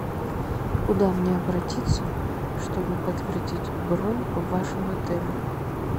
куда мне обратиться чтобы подтвердить бронь в вашем отеле